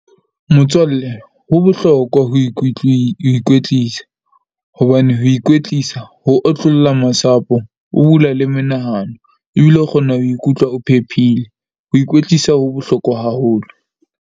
Motswalle ho bohlokwa ho ho ikwetlisa, hobane ho ikwetlisa ho otlolla masapo, ho bula le menahano. Ebile o kgona ho ikutlwa o phephile. Ho ikwetlisa ho bohlokwa haholo.